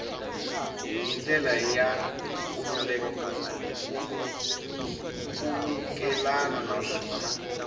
hi ndlela ya nkhulukelano naswona